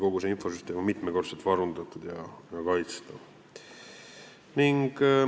Kogu see infosüsteem on mitmekordselt varundatud ja kaitstud.